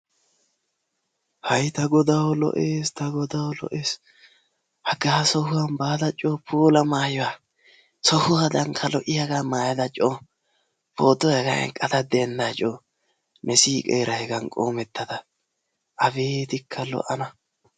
ha ta Godaw lo''es ta Godaw lo'es! haga sohuwan baada coo puula maayyuwa sohuwadankka lo''iyaaga maayyada dendda co potuwa hegan eqqada dendda co! ne siiqeera hegan qoomettada. abeetika lo''ana!